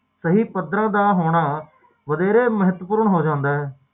ਜਿਹੜੀ ਕਦੇ ਵੀ ਵਾਪਰ ਸਕਦੇ